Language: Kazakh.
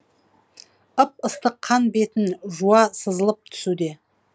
ып ыстық қан бетін жуа сызылып түсуде